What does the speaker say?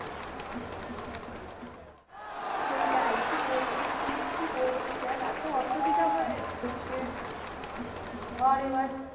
সেটাই কি বলবো মানে কি বলবো তোকে আর এত অসুবিধা হয়ে যাচ্ছে যে ধর এবার